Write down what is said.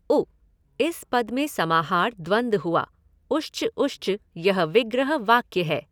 उ इस पद में समाहार द्वन्द्व हुआ, उश्च ऊश्च यह विग्रह वाक्य है।